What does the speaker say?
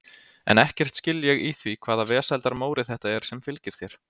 En ekkert skil ég í því hvaða vesældar Móri þetta er sem fylgir þér.